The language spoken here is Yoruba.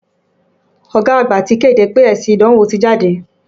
Ọ̀gá àgbà ti kéde pé èsì ìdánwò ti jáde.